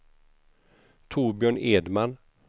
Torbjörn Edman